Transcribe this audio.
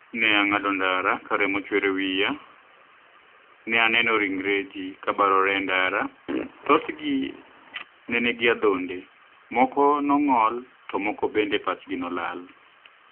ni e anig'ado nidara ka remo chuer e wiya, ni e ani eno rinigre ji kobarore e nidara, thothgi ni e niigi adhonide, moko ni e onig'ol, to moko benide pachgi ni e olal.